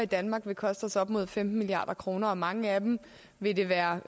i danmark ville koste os op mod femten milliard kroner og mange af dem ville det være